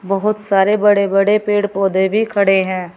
बहोत सारे बड़े बड़े पेड़ पौधे भी खड़े है।